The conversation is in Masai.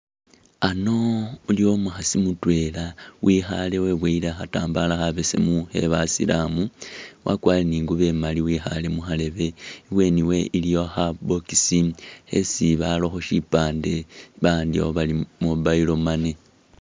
Ano iliwo umukhaasi mutwela wekhaale weboyele khatambala khabesemu khebasilamu wakwarire ne ingubo imali wekhaale mukharebe, ibweni wewe iliyo kha box khesi barakho sipande bawandikhakho bari Mobile Money.